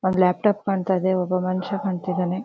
ಒಂದ್ ಲ್ಯಾಪ್ಟಾಪ್ ಕಾಣ್ತಾಯಿದೆ ಒಬ್ಬ ಮನ್ಶ ಕಾಣತ್ತಿದಾನೆ.